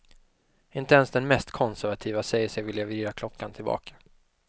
Inte ens den mest konservative säger sig vilja vrida klockan tillbaka.